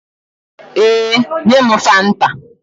Ee, nye m fanta